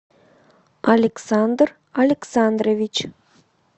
александр александрович